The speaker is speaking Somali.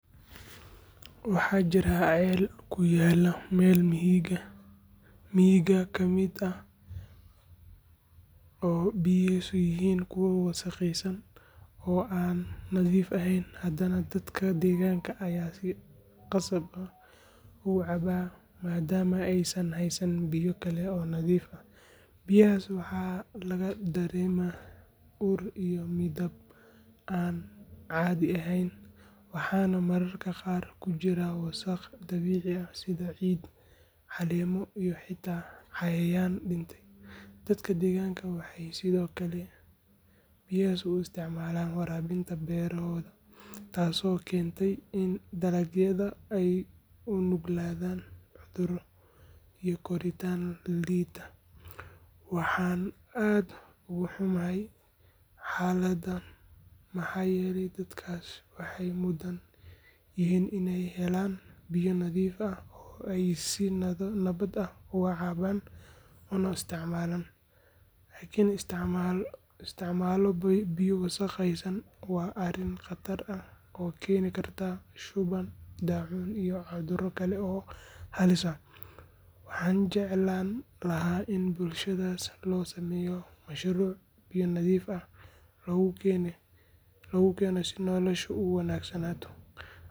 Waxaa jirta ceel ku yaalla meel miyiga ka mid ah oo biyihiisu yihiin kuwo wasakhaysan oo aan nadiif ahayn, haddana dadka deegaanka ayaa si khasab ah uga cabba maadaama aysan haysan biyo kale oo nadiif ah. Biyahaas waxaa laga dareemaa ur iyo midab aan caadi ahayn, waxaana mararka qaar ku jira wasakh dabiici ah sida ciid, caleemo iyo xitaa cayayaan dhintay. Dadka deegaanka waxay sidoo kale biyahaas u isticmaalaan waraabinta beerohooda, taasoo keentay in dalagyada ay u nuglaadaan cudurro iyo koritaan liita. Waxaan aad uga xumahay xaaladdan, maxaa yeelay dadkaasi waxay mudan yihiin in ay helaan biyo nadiif ah oo ay si nabad ah ugu cabbaan una isticmaalaan. In la isticmaalo biyo wasakhaysan waa arrin khatar ah oo keeni karta shuban, daacuun iyo cudurro kale oo halis ah. Waxaan jeclaan lahaa in bulshadaas loo sameeyo mashruuc biyo nadiif ah lagu keeno si noloshoodu u wanaagsanaato.